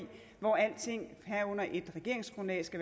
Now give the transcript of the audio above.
hvor alting herunder et regeringsgrundlag skal